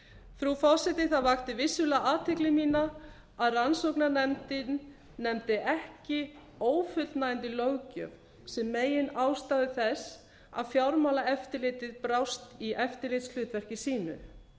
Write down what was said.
frú forseti það vakti vissulega athygli mína að rannsóknarnefndin nefndi ekki ófullnægjandi löggjöf sem meginástæðu þess að fjármálaeftirlitið brást í eftirlitshlutverki sínu